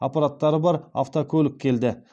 аппараттары бар автокөлік келді